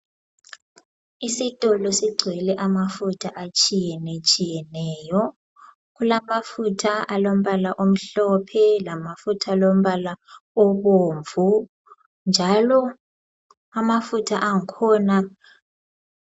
Isitolo sigcwele amafutha atshiyenetshiyeneyo kulamafutha alombala omhlophe lamafutha alombala obomvu njalo amafutha angikhona